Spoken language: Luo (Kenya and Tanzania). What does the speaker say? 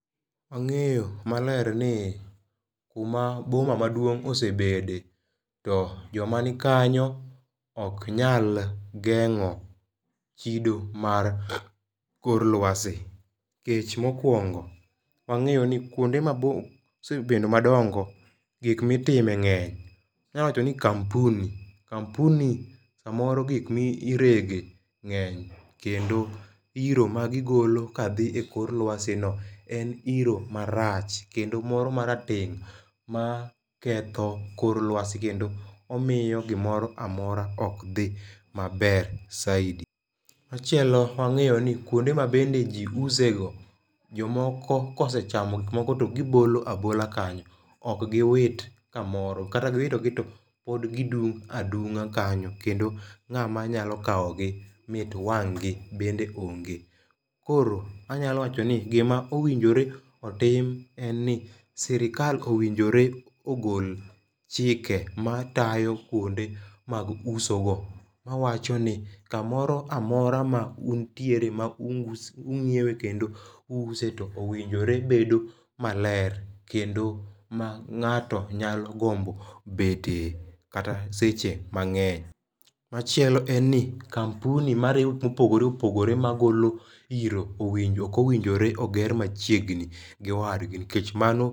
Wang'eyo maler ni kuma boma maduong' osebede to jomanikanyo ok nyal geng'o chido mar kor lwasi. Nikech mokwongo wang'eyo ni kuonde mabup mosebedo madongo gik mitime ng'eny. Wanya wacho ni kampuni, kampuni samoro gik mi irege ng'eny kendo iro magigolo ka dhi e kor lwasi no en iro marach kendo moro marateng' maketho kor lwasi kendo omiyo gimoro amora ok dhi maber saidi. Machielo wang'enyo ni kuonde ma bende ji use go jomoko kosechamo gik moko to gibolo abola kanyo. Ok giwit kamoro kata giwitogi to pod gidung' adung'a kanyo kendo ng'ama nyalo kawo gi mit wang' gi bende onge. Koro anyalo wacho ni gima owinjore otim en ni sirikal owinjore ogol chike matayo kuonde mag uso go mawacho ni kamoro amora ma untiere ma ung'iewe kondo u use owinjore bedo maler kendo ma ng'ato nyalo gombo bete kata seche mang'eny. Machielo en ni kampuni marego gik mopogore opogore magolo iro owinjo ok owinjo oger machiegni gi wadgi nikech mano...